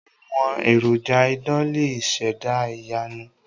Àwọn èròjà idán lè ṣẹ̀dá ìyanu.